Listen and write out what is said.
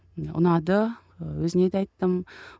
ұнады ы өзіне де айттым